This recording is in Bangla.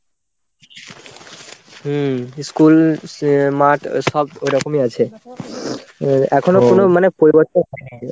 হম school মাঠ সব ওই রকমই আছে. এখনো কোনো মানে পরিবর্তন হইনি.